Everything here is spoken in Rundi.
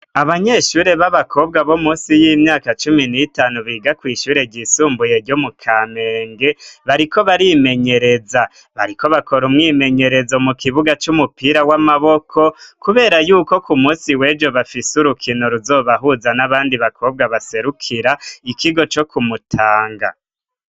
Abanyeshure b'abakobwa bo munsi y'imyaka cumi n'itanu biga kw' ishure ryisumbuye ryo mu kamenge bariko barimenyereza bariko bakora umwimenyerezo mu kibuga c'umupira w'amaboko kubera yuko ku munsi wejo bafise urukino ruzobahuza n'abandi bakobwa baserukira ikigo co ku Mutanga